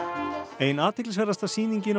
ein athyglisverðasta sýningin á